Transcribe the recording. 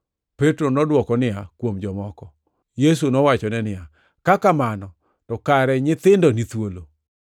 Petro nodwoko niya, “Kuom jomoko.” Yesu nowachone niya, “Ka kamano to kare nyithindo ni thuolo.